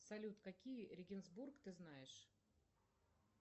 салют какие регенсбург ты знаешь